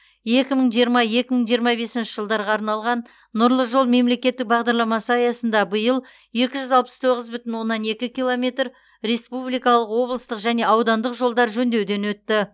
екі мың жиырма екі мың жиырма бесінші жылдарға арналған нұрлы жол мемлекеттік бағдарламасы аясында биыл екі жүз алпыс тоғыз бүтін оннан екі километр республикалық облыстық және аудандық жолдар жөндеуден өтті